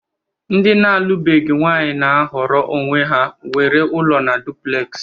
Ndi na alu beghi nwanyi na-ahọrọ onwe ha nwere ụlọ na Duplex